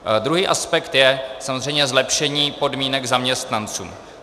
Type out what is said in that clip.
Druhý aspekt je samozřejmě zlepšení podmínek zaměstnancům.